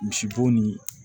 Misibo ni